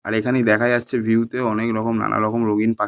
আর এখানেই দেখা যাচ্ছে ভিউতে অনেক রকম নানা রকম রঙিন পাখি |